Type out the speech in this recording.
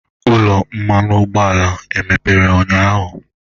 Ụlọ mmanụ ụgbọala mepere ụnyahụ?